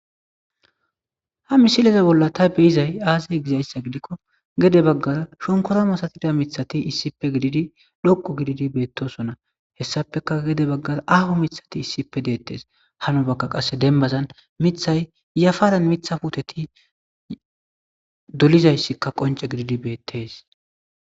ha misileze bolla ta beizay aazay gizayssa gidikko gede baggara shonkoramasatida mithati issippe gididi dhoqu gididi beettosona hessapeka gede baggara aho mithati issippe deettes hano bakka qasse dembazan mithay yafaran mitha huteti dolizayssikka qonce gididi beettes